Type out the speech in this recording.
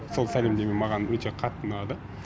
сол сәлемдеме маған өте қатты ұнады